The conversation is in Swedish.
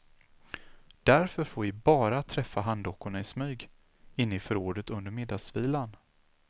Därför får vi bara träffa handdockorna i smyg inne i förrådet under middagsvilan.